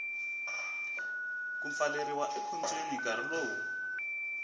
ku pfaleriwa ekhotsweni nkarhi lowu